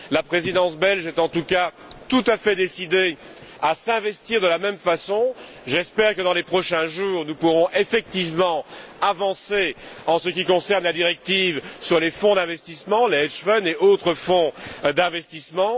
La Présidence belge est en tout cas tout à fait décidée à s'investir de la même façon. J'espère que, dans les prochains jours, nous pourrons effectivement avancer en ce qui concerne la directive sur les fonds d'investissement, les hedge funds et autres fonds d'investissement.